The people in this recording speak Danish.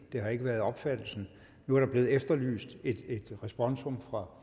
det har ikke været opfattelsen nu er der blevet efterlyst et responsum fra